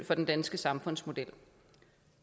den danske samfundsmodel